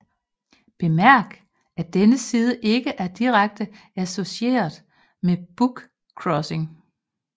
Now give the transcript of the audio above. Bemærk at denne side ikke er direkte associeret med bookcrossing